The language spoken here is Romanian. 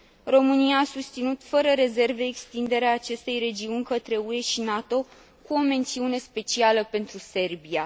România a susținut fără rezerve extinderea acestei regiuni către UE și NATO, cu o mențiune specială pentru Serbia.